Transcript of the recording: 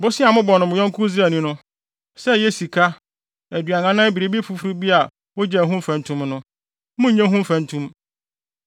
Bosea a mobɔ mo yɔnko Israelni no, sɛ ɛyɛ sika, aduan anaa biribi foforo bi a wogye ho mfɛntom no, monnnye ho mfɛntom.